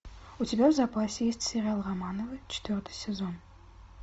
у тебя в запасе есть сериал романовы четвертый сезон